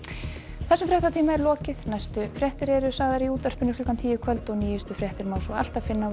þessum fréttatíma er lokið næstu fréttir eru í útvarpi klukkan tíu í kvöld og nýjustu fréttir má alltaf finna á